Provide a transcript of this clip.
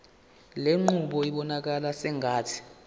lenqubo ibonakala sengathi